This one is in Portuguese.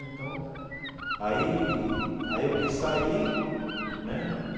Então, aí aí eu quis sair né.